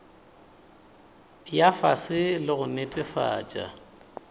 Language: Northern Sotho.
ya fase le go netefatša